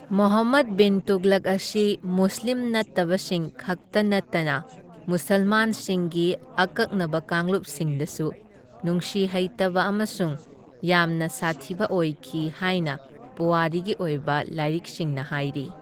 ꯃꯣꯍꯝꯃꯗ ꯕꯤꯟ ꯇꯨꯘꯂꯨꯛ ꯑꯁꯤ ꯃꯨꯁꯂꯤꯝ ꯅꯠꯇꯕꯁꯤꯡ ꯈꯛꯇ ꯅꯠꯇꯅ ꯃꯨꯁꯜꯃꯥꯟꯁꯤꯡꯒꯤ ꯑꯀꯛꯅꯕ ꯀꯥꯡꯂꯨꯞꯁꯤꯡꯗꯁꯨ ꯅꯨꯡꯁꯤꯍꯩꯇꯕ ꯑꯃꯁꯨꯡ ꯌꯥꯝꯅ ꯁꯥꯊꯤꯕ ꯑꯣꯏꯈꯤ ꯍꯥꯏꯅ ꯄꯨꯋꯥꯔꯤꯒꯤ ꯑꯣꯏꯕ ꯂꯥꯏꯔꯤꯛꯁꯤꯡꯅ ꯍꯥꯏꯔꯤ꯫